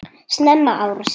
Snemma árs